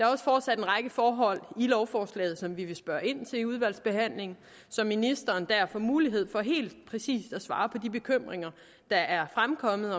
også fortsat en række forhold i lovforslaget som vi vil spørge ind til i udvalgsbehandlingen så ministeren dér får mulighed for helt præcis at svare på de bekymringer der er fremkommet